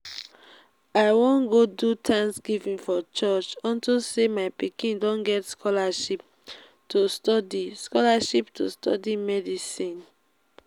i wan go do thanksgiving for church unto say my pikin don get scholarship to study scholarship to study medicine